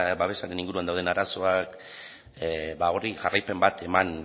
babesaren inguruan dauden arazoak horri jarraipen bat eman